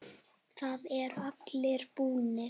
Þeir eru allir búnir.